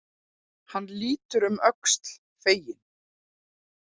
Hann lítur um öxl, feginn.